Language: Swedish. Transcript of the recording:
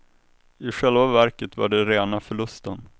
I själva verket var det rena förlusten.